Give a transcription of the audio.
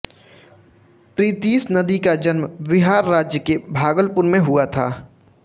प्रीतिश नंदी का जन्म बिहार राज्य के भागलपुर में हुआ था